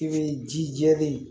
I bɛ ji jɛlen